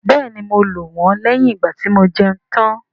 Bẹ́ẹ̀ni, mo lò wọ́n lẹ́yìn ìgbàtí mo jẹun tán